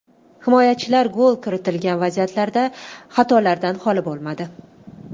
Himoyachilar gol kiritilgan vaziyatlarda xatolardan holi bo‘lmadi.